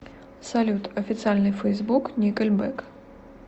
салют официальный фейсбук никельбэк